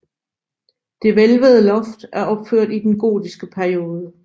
Det hvælvede loft er opført i den gotiske periode